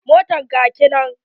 Motar ka kenan?